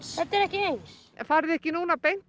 þetta er ekki eins farið þið ekki beint að